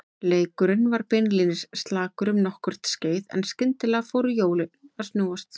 Leikurinn var beinlínis slakur um nokkurt skeið en skyndilega fóru hjólin að snúast.